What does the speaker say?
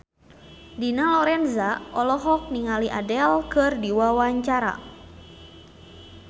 Dina Lorenza olohok ningali Adele keur diwawancara